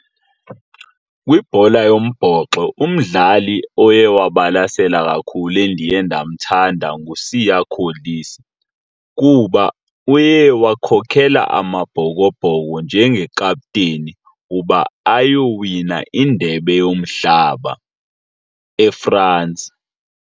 Kwibhola yombhoxo umdlali oye wabasela kakhulu endiye ndamthanda nguSiya Kolisi kuba uye wakhokela Amabhokobhoko njengekapteni uba ayowina indebe yomhlaba eFrance.